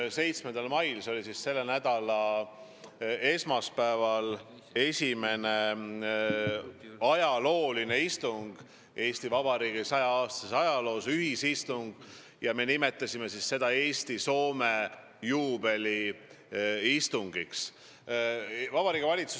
Jah, 7. mail ehk selle nädala esmaspäeval toimus ajalooline istung, esimene ühisistung saja-aastases Eesti Vabariigis, mida me nimetasime Eesti-Soome juubeliistungiks.